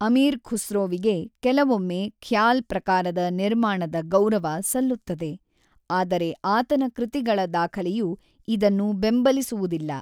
ಅಮೀರ್ ಖುಸ್ರೋವಿಗೆ ಕೆಲವೊಮ್ಮೆ ಖ್ಯಾಲ್ ಪ್ರಕಾರದ ನಿರ್ಮಾಣದ ಗೌರವ ಸಲ್ಲುತ್ತದೆ, ಆದರೆ ಆತನ ಕೃತಿಗಳ ದಾಖಲೆಯು ಇದನ್ನು ಬೆಂಬಲಿಸುವುದಿಲ್ಲ.